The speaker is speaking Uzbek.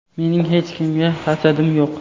Mening hech kimga hasadim yo‘q.